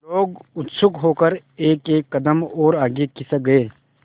लोग उत्सुक होकर एकएक कदम और आगे खिसक गए